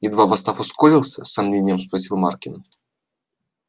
едва восстав ускорился с сомнением спросил маркин